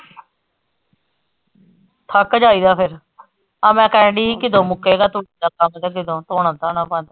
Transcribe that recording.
ਥੱਕ ਜਾਇਦਾ ਫਿਰ ਆਹ ਮੈਂ ਕਹਿਣ ਡੀ ਸੀ ਕਿ ਕਦੋ ਮੁੱਕੇਗਾ ਤੂੜੀ ਦਾ ਕੰਮ ਤੇ ਕਿੱਦੋ ਧੋਣਾ ਧਾਣਾ ਬੰਦ।